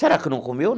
Será que não comeu?